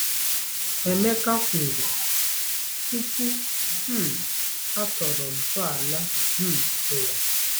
Emeka kwuru "tupu um a tọrọ ntọala um ụwa."